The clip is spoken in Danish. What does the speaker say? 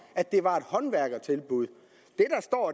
at det var et håndværkertilbud